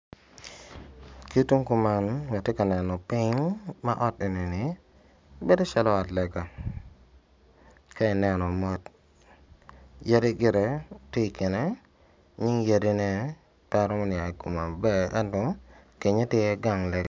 Ki tung ka enini atye ka neno pony ki tung kumalo ma ot enini bedo calo ot lega ka ineno mot yadi gitetye I kine nying yadine pe aromo niang I kome maber ento kenyo tye iye gang lega.